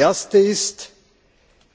Die erste ist